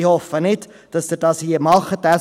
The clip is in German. Ich hoffe nicht, dass Sie das hier tun werden.